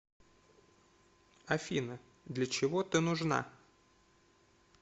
афина для чего ты нужна